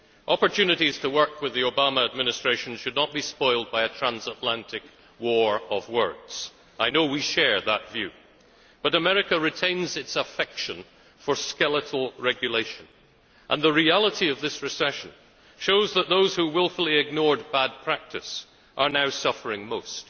Opportunities to work with the Obama Administration should not be spoilt by a transatlantic war of words. I know we share that view, but America retains its affection for skeletal regulation, and the reality of this recession shows that those who wilfully ignored bad practice are now suffering most.